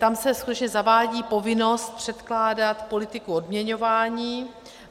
Tam se skutečně zavádí povinnost předkládat politiku odměňování.